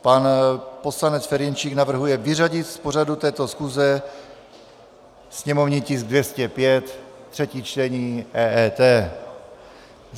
Pan poslanec Ferjenčík navrhuje vyřadit z pořadu této schůze sněmovní tisk 205, třetí čtení, EET.